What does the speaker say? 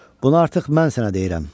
Bunu artıq mən sənə deyirəm.